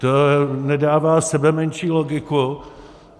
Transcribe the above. To nedává sebemenší logiku.